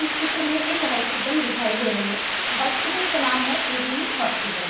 इस क्षेत्र में एक हॉस्पिटल दिखाई दे रही है हॉस्पिटल का नाम है इरीनी हॉस्पिटल --